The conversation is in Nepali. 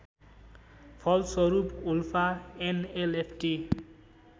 फलस्वरूप उल्फा एनएलएफटी